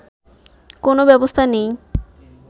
কোন ব্যবস্থা নেই